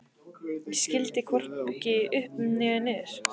Ég skildi hvorki upp né niður.